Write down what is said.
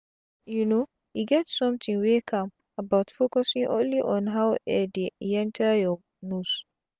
you know e get somtin wey calm about focusing only on how air de yenta your nose